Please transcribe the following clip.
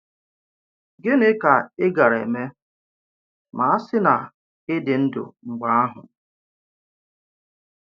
Gịnị ka ị gàrà emè mà a sì na ị dị ndụ mgbe ahụ?